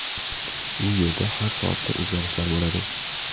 U yerda har soatda o‘zgarishlar bo‘ladi.